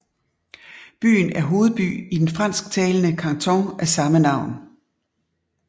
Byen er hovedby i den fransktalende kanton af samme navn